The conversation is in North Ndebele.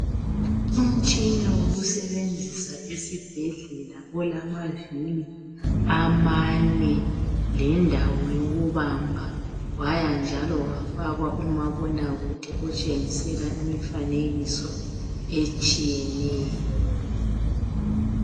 Umtshina wokusebenzisa esibhedlela olamavili amane lendawo yokubamba wayanjalo wafakwa umabonakude otshengisela imifanekiso etshiyeneyo.